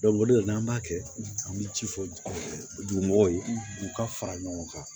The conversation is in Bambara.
o de la n'an b'a kɛ an bɛ ci fɔ dugubaw ye u ka fara ɲɔgɔn kan